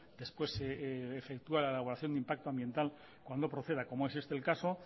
después se efectúa la elaboración de impacto ambiental cuando proceda como es este el caso